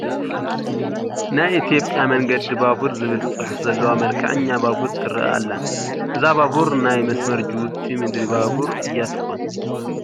ናይ ኢትዮጵያ መንገዲ ባቡር ዝብል ፅሑፍ ዘለዋ መልክዐኛ ባቡር ትርአ ኣላ፡፡ እዛ ባቡር ናይ መስመር ጅቡቲ ምድሪ ባቡር እያ ትኾን፡፡